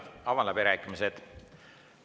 Avan läbirääkimised.